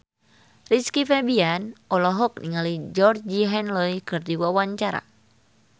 Rizky Febian olohok ningali Georgie Henley keur diwawancara